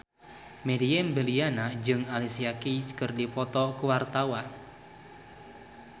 Meriam Bellina jeung Alicia Keys keur dipoto ku wartawan